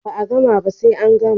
Ba a gama ba sai an gama